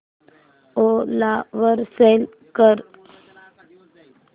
ओला वर सेल कर